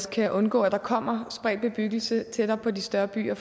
kan undgå at der kommer spredt bebyggelse tættere på de større byer